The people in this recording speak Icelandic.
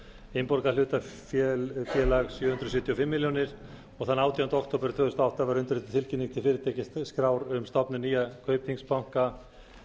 innborgað hlutafé sjö hundruð sjötíu og fimm milljónir króna þann átjánda október tvö þúsund og átta var undirrituð tilkynning til fyrirtækjaskrár um stofnun nýja kaupþings banka